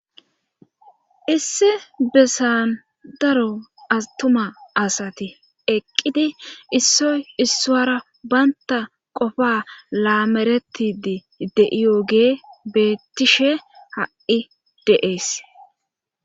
Issi besan daro atuma asati eqqidi issoy issoara baynta qofa laameretidi de7iyogee beettishe ha7i deees.